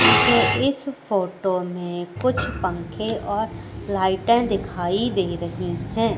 मुझे इस फोटो में कुछ पंखे और लाइटे दिखाई दे रही है।